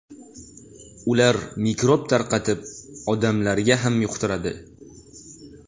Ular mikrob tarqatib, odamlarga ham yuqtiradi.